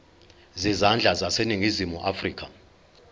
zezandla zaseningizimu afrika